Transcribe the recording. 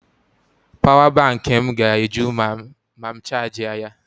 Pawa bankị m ga-eju ma m chajịa ya.